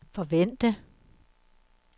forvente